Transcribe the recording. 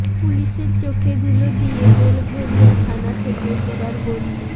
পুলিসের চোখে ধুলো দিয়ে বেলঘরিয়া থানা থেকে ফেরার বন্দি